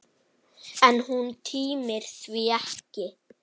En hún tímir því ekki!